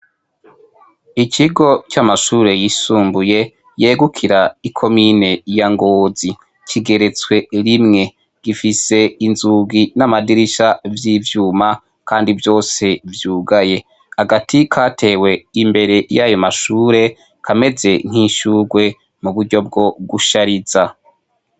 Ikigo c'amashure yisumbuye yegukira ikomine ya ngozi, kigerezwe rimwe gifise inzugi n'amadirisha vy'ivyuma ,kandi vyose vyogaye agati katewe imbere yayo mashure kameze nk'ishurwe muburyo bwo gushariza.